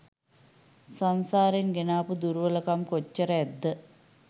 සංසාරෙන් ගෙනාපු දුර්වලකම් කොච්චර ඇද්ද?